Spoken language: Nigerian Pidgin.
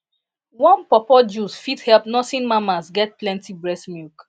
warm pawpaw juice fit help nursing mamas get plenty breast milk